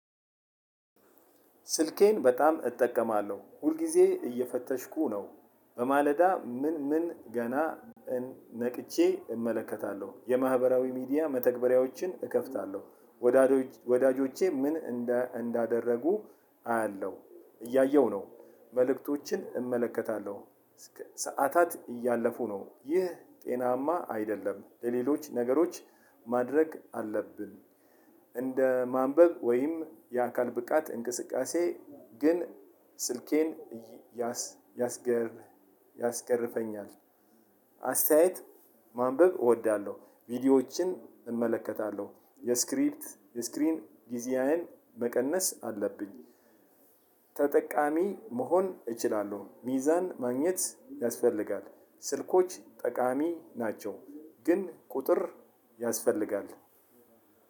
ስልኬን በጣም እጠቀማለሁ። ሁልጊዜ እየፈተሽኩ ነው። በማለዳ ምን ምን ገና ነቅቼ እመለከታለሁ። የማህበራዊ ሚዲያ መተግበሪያዎችን እከፍታለሁ። ወዳጆቼ ምን እንዳደረጉ አያለሁ። እያየሁ ነው። መልእክቶችን እመለከታለሁ። ሰዓታት እያለፉ ነው። ይህ ጤናማ አይደለም። ለሌሎች ነገሮች ማድረግ አለብን። እንደ ማንበብ ወይም የአካል ብቃት እንቅስቃሴ ግን ስልኬን ያስገርፈኛል። አስተያየት ማንበብ እወዳለሁ። ቪዲዮዎችን እመለከታለሁ። የስክሪፕት የስክሪን ጊዜያዊን መቀነስ አለብኝ። ተጠቃሚ መሆን እችላለሁ። ሚዛን ማግኘት ያስፈልጋል። ስልኮች ጠቃሚ ናቸው። ግን ቁጥር ያስፈልጋል።